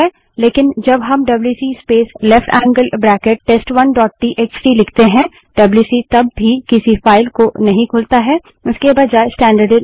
लेकिन जब हम WC space left angle bracket space test one dot T X T W C space left angled bracket test1टीएक्सटी लिखते हैं डब्ल्यूसी तब भी किसी फाइल को नहीं खोलता है